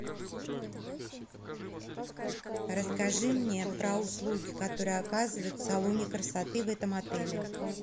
расскажи мне про услуги которые оказывают в салоне красоты в этом отеле